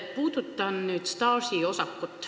Puudutan nüüd staažiosakut.